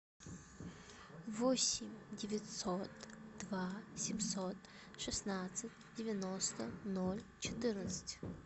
восемь девятьсот два семьсот шестнадцать девяносто ноль четырнадцать